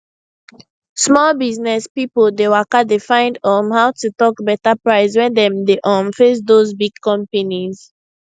small business pipo dey waka dey find um how to talk better price when dem dey um face those big companies